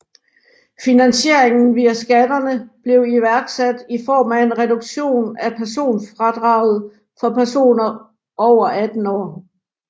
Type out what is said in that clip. Finansieringen via skatterne blev iværksat i form af en reduktion af personfradraget for personer over 18 år